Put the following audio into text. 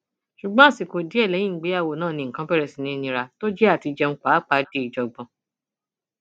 ṣùgbọn àsìkò díẹ lẹyìn ìgbéyàwó náà ni nǹkan bẹrẹ sí í nira tó jẹ àtijẹun pàápàpá di ìjàngbọn